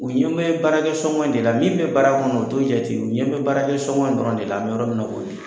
U ɲɛ be baarakɛ sɔngɔn in de la min be baara kɔnɔ u t'o jate u ɲɛ be baarakɛ sɔngɔn in dɔrɔn de la an be yɔrɔ mina i ko bi